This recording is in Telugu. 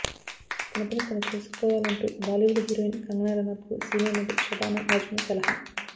తనపని తను చూసుకోవాలంటూ బాలీవుడ్ హీరోయిన్ కంగనా రనౌత్కు సీనియర్ నటి షబనా ఆజ్మీ సలహా